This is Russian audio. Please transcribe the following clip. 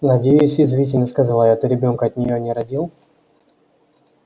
надеюсь язвительно сказала я ты ребёнка от неё не родил